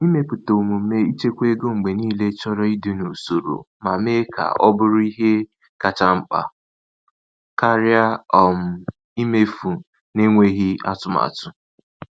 Ịmepụta omume ịchekwa ego mgbe niile chọrọ ịdị n’usoro ma mee ka o bụrụ ihe kacha mkpa karịa um imefu n’enweghị atụmatụ.